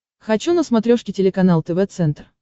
хочу на смотрешке телеканал тв центр